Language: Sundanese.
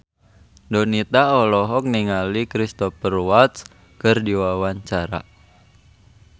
Donita olohok ningali Cristhoper Waltz keur diwawancara